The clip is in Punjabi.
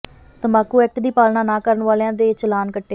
ਤੰਬਾਕੂ ਐਕਟ ਦੀ ਪਾਲਣਾ ਨਾ ਕਰਨ ਵਾਲਿਆਂ ਦੇ ਚਲਾਨ ਕੱਟੇ